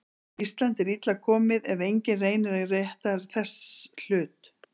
Ísland er illa komið ef enginn reynir að rétta þess hlut.